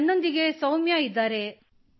ನನ್ನೊಂದಿಗೆ ಸೌಮ್ಯಾ ಇದ್ದಾರೆ |